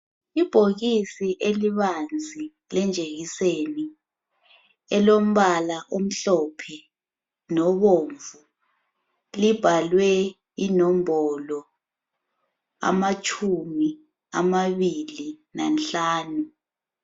Ibhokisi elibanzi lejekiseni elombala omhlophe lobomvu libhalwe inombolo amatshumi amabili lanhlanu.